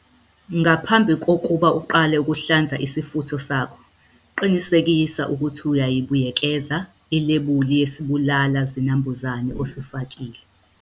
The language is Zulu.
Ngaphambi kokuba uqale ukuhlanza isifutho sakho, qinisekisa ukuthi uyayibuyekeza ilebuli yesibulala zinambuzane osifakile.